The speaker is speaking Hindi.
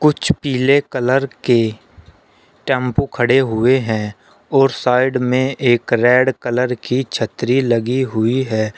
कुछ पीले कलर के टेंपू खड़े हुए हैं और साइड में एक रेड कलर की छतरी लगी हुई है।